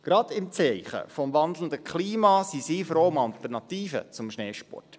Gerade im Zeichen des wandelnden Klimas sind sie froh um Alternativen zum Schneesport.